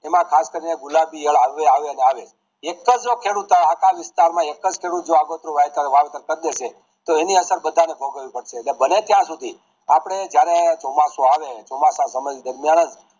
એમાં ખાસ કરીને ગુલાબી ઈયળો આવે આવે ને આવે એક જ ખેડૂત જે આખા વિસ્તાર માં એક જ ખેડૂત જે આગોતરું વાવેતરવાવેતર કરી દે છે તો એની અસર બધા ને ભોગવી પડશે તો બને ત્યાં શુદ્ધિ આપડે જયારે ચોમાસુ આવે ચોમાસા સમય દરમિયાન જ